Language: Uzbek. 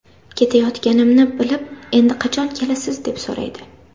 Ketayotganimni bilib endi qachon kelasiz deb so‘raydi.